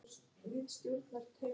Koggi, er bolti á mánudaginn?